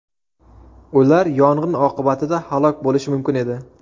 Ular yong‘in oqibatida halok bo‘lishi mumkin edi.